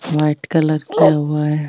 White colour किया हुआ है।